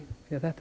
þetta er